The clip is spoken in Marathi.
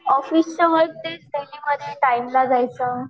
ऑफिसचं तेच डेलीमध्ये टाईमला जायचं.